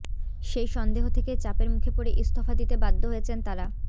সেই সন্দেহ থেকেই চাপের মুখে পড়ে ইস্তফা দিতে বাধ্য হয়েছেন তাঁরা